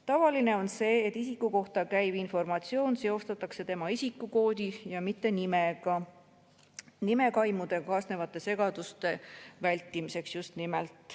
Tavaline on see, et isiku kohta käiv informatsioon seostatakse tema isikukoodi ja mitte nimega – just nimelt nimekaimudega kaasnevate segaduste vältimiseks.